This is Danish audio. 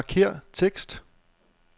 Markér tekst.